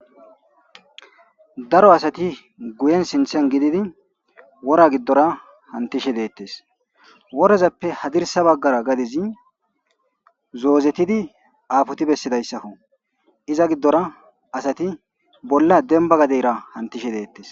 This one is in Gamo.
Daro asati guyen sinththen gididi woora gidora hanttishe dettes woorazappe hadirssa baggara gadezi zozettidi apotti besidayssakko iza gidora asati bolla dembba gaddeyrra hantishe dettes